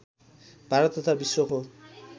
भारत तथा विश्वको